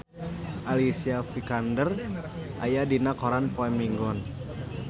Alicia Vikander aya dina koran poe Minggon